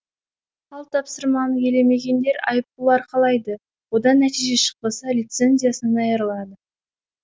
ал тапсырманы елемегендер айыппұл арқалайды одан нәтиже шықпаса лицензиясынан айырылады